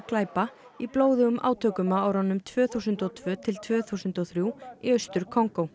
glæpa í blóðugum átökum á árunum tvö þúsund og tvö til tvö þúsund og þrjú í Austur Kongó